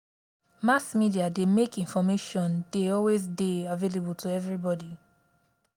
mass media dey make information de always dey available to everybody